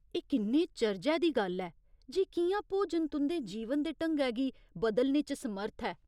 एह् किन्ने चर्जै दी गल्ल ऐ जे कि'यां भोजन तुं'दे जीवन दे ढंगै गी बदलने च समर्थ ऐ।